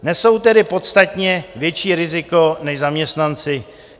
Nesou tedy podstatně větší riziko než zaměstnanci.